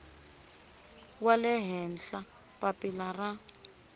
wa le henhla papila ra